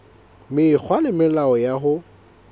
mekgwa le melao ya ho